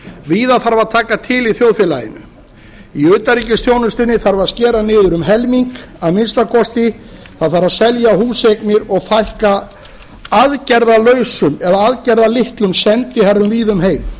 víða þarf að taka til í þjóðfélaginu í utanríkisþjónustunni þarf að skera niður um helming að minnsta kosti það þarf að selja húseignir og fækka aðgerðalausum eða aðgerðalitlum sendiherrum víða um heim